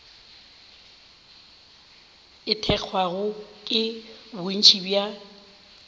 e thekgwago ke bontši bja